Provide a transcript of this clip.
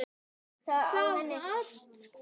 Þú varst hvar?